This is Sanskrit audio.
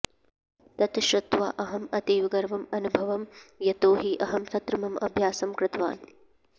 तत् श्रुत्वा अहम् अतीवगर्वम् अन्वभवम् यतोहि अहं तत्र मम अभ्यासं कृतवान्